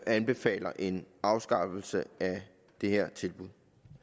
anbefaler en afskaffelse af det her tilbud